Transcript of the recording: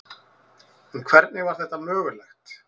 En hvernig var þetta mögulegt?